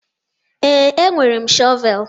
Ee, enwere m shọvel.